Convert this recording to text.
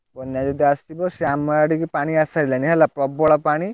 ବନ୍ୟା ଯଦି ଆସିବ ସିଏ ଆମ ଆଡକୁ ପାଣି ଆସିସାଇଲାଣି ହେଲା ପ୍ରବଳ ପାଣି।